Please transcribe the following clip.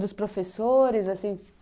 dos professores, assim